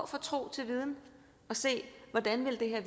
fra tro til viden og se hvordan det her